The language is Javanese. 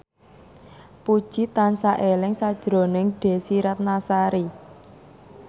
Puji tansah eling sakjroning Desy Ratnasari